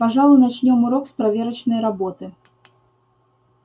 пожалуй начнём урок с проверочной работы